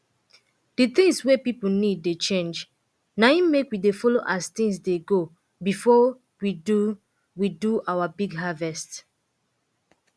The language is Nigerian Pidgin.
di tins wey pipo need dey change na im make we dey follo as tins dey go before we do we do our big harvest